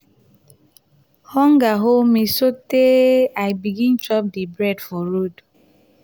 hunger hold me sotee i begin chop di bread for road.